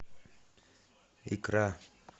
икра